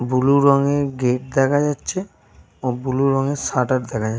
Blue রঙের gate দেখা যাচ্ছে। ও ব্লু রঙের শাটার দেখা যা --